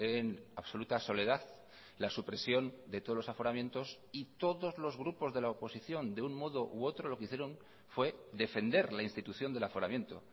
en absoluta soledad la supresión de todos los aforamientos y todos los grupos de la oposición de un modo u otro lo que hicieron fue defender la institución del aforamiento